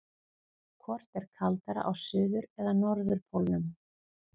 Hvort er kaldara á suður- eða norðurpólnum?